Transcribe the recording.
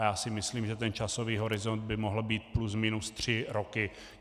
A já si myslím, že ten časový horizont by mohl být plus minus tři roky.